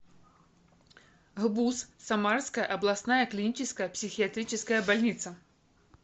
гбуз самарская областная клиническая психиатрическая больница